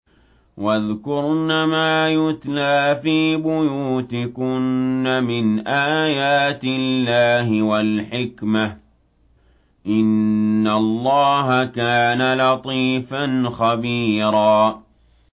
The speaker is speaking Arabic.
وَاذْكُرْنَ مَا يُتْلَىٰ فِي بُيُوتِكُنَّ مِنْ آيَاتِ اللَّهِ وَالْحِكْمَةِ ۚ إِنَّ اللَّهَ كَانَ لَطِيفًا خَبِيرًا